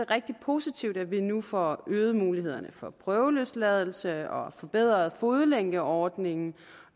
rigtig positivt at vi nu får øget mulighederne for prøveløsladelse og forbedret fodlænkeordningen